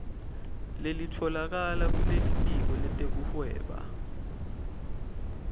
lelitfolakala kulitiko letekuhweba